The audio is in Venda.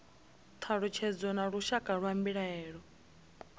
thalutshedzo na lushaka lwa mbilaelo